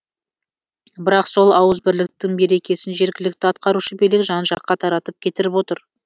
бірақ сол ауызбірліктің берекесін жергілікті атқарушы билік жан жаққа таратып кетіріп отыр